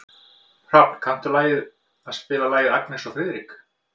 Hrafn, kanntu að spila lagið „Agnes og Friðrik“?